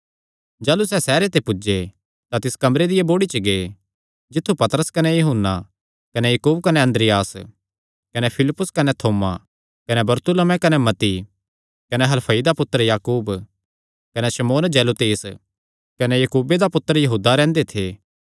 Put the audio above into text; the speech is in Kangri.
जाह़लू सैह़ सैहरे च पुज्जे तां तिस कमरे दिया बोड़ी च गै जित्थु पतरस कने यूहन्ना कने याकूब कने अन्द्रियास कने फिलिप्पुस कने थोमा कने बरतुल्मै कने मत्ती कने हलफई दा पुत्तर याकूब कने शमौन जेलोतेस कने याकूबे दा पुत्तर यहूदा रैंह्दे थे